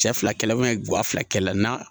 Cɛ fila kɛ fila na